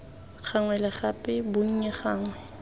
gangwe le gape bonnye gangwe